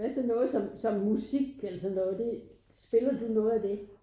Hvad så noget sådan som musik eller sådan noget det spiller du noget af det?